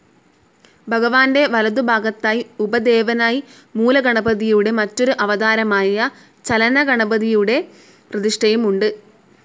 ഭഗവാന്റെ വലതുഭാഗത്തായി ഉപദേവനായി മൂലഗണപതിയുടെ മറ്റൊരു അവതാരമായ ചലനഗണപതിയുടെ പ്രതിഷ്ഠയും ഉണ്ട്.